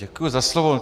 Děkuji za slovo.